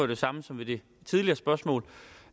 det samme som ved det tidligere spørgsmål